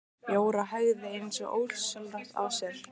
Jóra hægði eins og ósjálfrátt á sér.